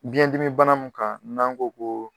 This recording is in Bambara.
Biyɛn dimi bana min kan n'an ko koo